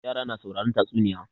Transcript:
Yara na sauraren tatsunniya.